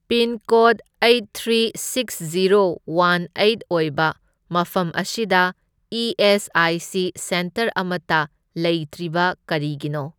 Pincode eight three six zero one eight ꯑꯣꯏꯕ ꯃꯐꯝ ꯑꯁꯤꯗ E S I C centre ꯑꯃꯇ ꯂꯩꯇ꯭ꯔꯤꯕ ꯀꯔꯤꯒꯤꯅꯣ?